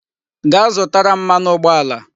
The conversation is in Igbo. Gaa zụtara m mmanụ ụgbọala